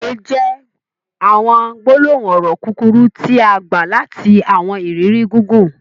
Òwè jẹ̀ awọn gbolohun ọrọ kukuru tia gba lati awọn iriri gigun.